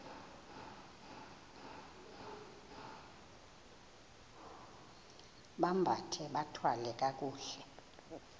bambathe bathwale kakuhle